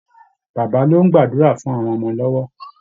Baba ló ń gbàdúra fún àwọn ọmọ lọ́wọ́